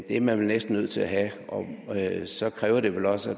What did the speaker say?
er man vel næsten nødt til at have og så kræver det vel også